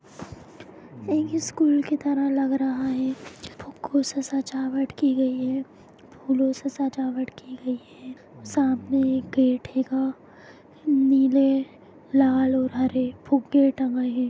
यह एक स्कुल की तरह लग रहा है फुगो से सजावट की गयी है फूलो के सजावट की गयी है समने एक गेट हेगा नीले लाल और हरे फुगे टंगे है।